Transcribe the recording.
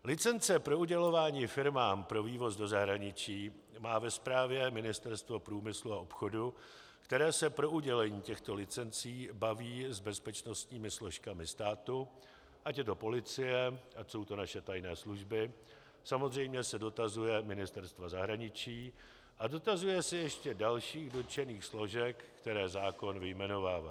Licence pro udělování firmám pro vývoz do zahraničí má ve správě Ministerstvo průmyslu a obchodu, které se pro udělení těchto licencí baví s bezpečnostními složkami státu, ať je to policie, ať jsou to naše tajné služby, samozřejmě se dotazuje Ministerstva zahraničí a dotazuje se ještě dalších dotčených složek, které zákon vyjmenovává.